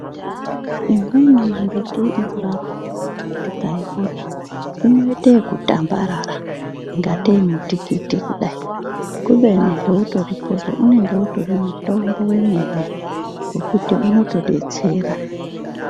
Imweni mimbiti inorapa tikaiona inoite okutambarara ingatei mutikiti kudayi kubeni heutori pozvo unenge utori mutombo wemene wekuti unotodetsera.